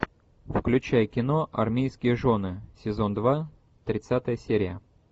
включай кино армейские жены сезон два тридцатая серия